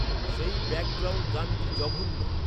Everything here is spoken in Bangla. সেই ব্যাকগ্রাউন্ড গানটি জঘন্য